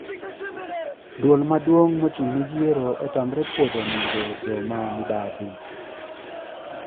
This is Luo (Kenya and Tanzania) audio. Duol maduong` mochung` ne yiero otamre puodho nyinge jomamibadhi